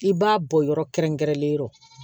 I b'a bɔ yɔrɔ kɛrɛnkɛrɛnnen yɔrɔ